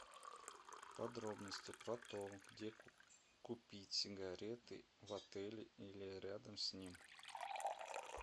подробности про то где купить сигареты в отеле или рядом с ним